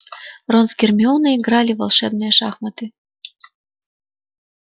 рон с гермионой играли в волшебные шахматы